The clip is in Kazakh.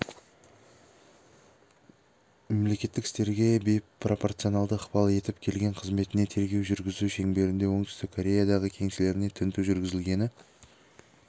мемлекеттік істерге бейпропорционалды ықпал етіп келген қызметіне тергеу жүргізу шеңберінде оңтүстік кореядағы кеңселеріне тінту жүргізілгені